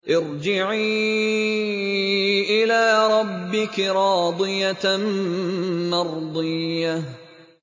ارْجِعِي إِلَىٰ رَبِّكِ رَاضِيَةً مَّرْضِيَّةً